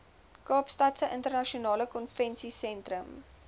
kaapstadse internasionale konvensiesentrum